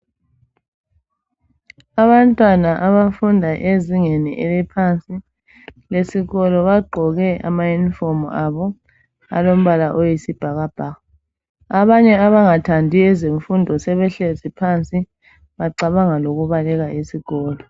Abantwana abafunda ezingeni eliphansi lesikolo bagqoke amayunifomu abo alombala oyisibhakabhaka. Abanye abangathandiyo ukufunda ebehleli phansi bacabanga lokubaleka esikolo.